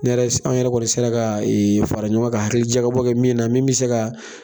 anw yɛrɛ kɔni sera ka fara ɲɔgɔn kan ka hakilijakabɔ kɛ min na min bi se ka